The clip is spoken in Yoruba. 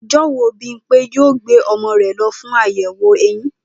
O̩jó̩ wo Bímpé yóò gbé o̩mo̩ rè̩ lo̩ fún àyè̩wò eyin?